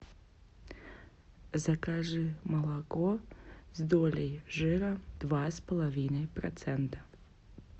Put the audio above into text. закажи молоко с долей жира два с половиной процента